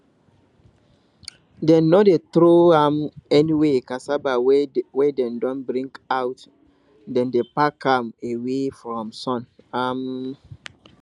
dem no dey throw am anywhere cassava wey dem don bring out dem dey pack am away from sun um